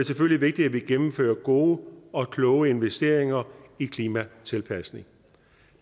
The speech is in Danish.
selvfølgelig vigtigt at vi gennemfører gode og kloge investeringer i klimatilpasning